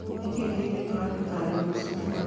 Nĩ kĩĩ kĩhithĩtwo harĩ gũtaarĩria macungwa